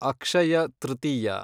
Akshaya Tritiya